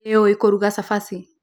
Nĩ ũĩ kũruga cabaci.